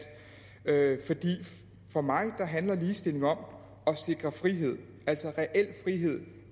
er at for mig handler ligestilling om at sikre frihed altså